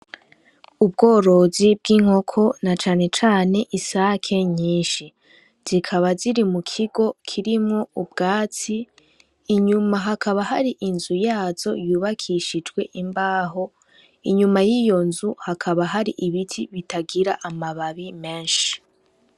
Ubworozi bw'inkoko na canecane isake nyinshi zikaba ziri mu kigo kirimwo ubwatsi inyuma hakaba hari inzu yazo yubakishijwe imbaho inyuma y'iyo nzu hakaba hari ibiti bitagira amababi menshi.